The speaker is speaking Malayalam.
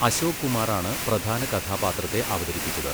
അശോക് കുമാറാണ് പ്രധാന കഥാപാത്രത്തെ അവതരിപ്പിച്ചത്.